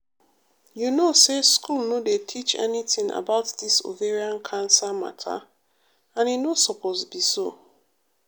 you know say school no dey teach anytin about dis ovarian cancer matter and e no supose be so.